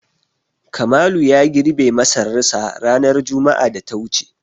Kamalu ya girbe masararsa ranar juma'ar da ta wuce.